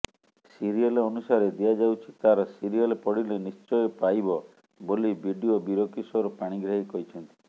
serial ଅନୁସାରେ ଦିଆଯାଉଛି ତାର ସିରିଏଲ ପଡିଲେ ନିଶ୍ଚୟ ପାଇବ ବୋଲି ବିଡିଓ ବୀରକିଶୋର ପାଣିଗ୍ରାହୀ କହିଛନ୍ତି